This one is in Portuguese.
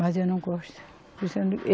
Mas eu não gosto.